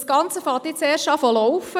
Das Ganze läuft jetzt erst an.